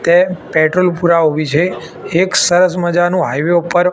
કે પેટ્રોલ પુરાવા ઉભી છે એક સરસ મજાનુ હાઈવે ઉપર--